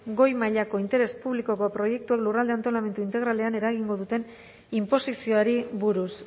goi mailako interes publikoko proiektuak lurralde antolamendu integralean eragingo duten inposizioari buruz